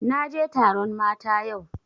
Na je taron mata yau